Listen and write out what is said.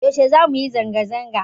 Yaushe zamu yi zanga zanga?